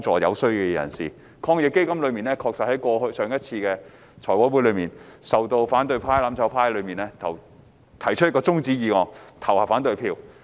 就防疫抗疫基金而言，在之前的財務委員會會議上，反對派、"攬炒派"提出中止待續議案，就政府的建議投下反對票。